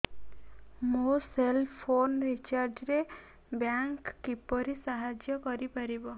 ମୋ cell phone recharge ରେ bank କିପରି ସାହାଯ୍ୟ କରିପାରିବ